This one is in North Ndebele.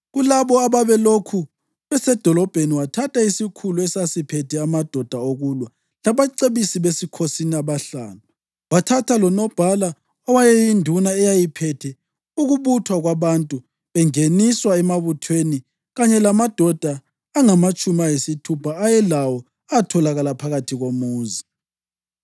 Kulabo ababelokhu besedolobheni, wathatha isikhulu esasiphethe amadoda okulwa labacebisi besikhosini abahlanu. Wathatha lonobhala owayeyinduna eyayiphethe ukubuthwa kwabantu bengeniswa emabuthweni kanye lamadoda angamatshumi ayisithupha ayelawo atholakala phakathi komuzi.